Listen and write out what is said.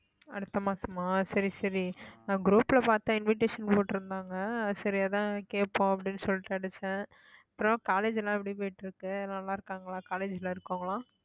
அடுத்த மாசமா சரி சரி நான் group ல பார்த்த invitation போட்டிருந்தாங்க சரி அதான் கேட்போம் அப்படின்னு சொல்லிட்டு அடிச்சேன் அப்புறம் college எல்லாம் எப்படி போயிட்டிருக்கு நல்லா இருக்காங்களா college ல இருக்கிறவங்க எல்லாம்